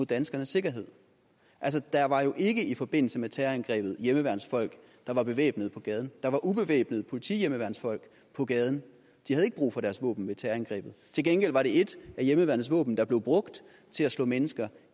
danskernes sikkerhed der var jo ikke i forbindelse med terrorangrebet hjemmeværnsfolk der var bevæbnet på gaden der var ubevæbnede politihjemmeværnsfolk på gaden de havde ikke brug for deres våben ved terrorangrebet til gengæld var det et af hjemmeværnets våben der blev brugt til at slå mennesker